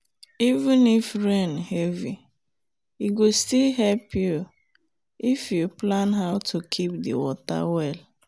even if rain heavy e go still help you if you plan how to keep the water well.